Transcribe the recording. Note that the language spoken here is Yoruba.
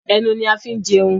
Ẹnu ni a fin jẹun